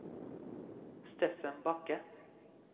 Steffen Bakke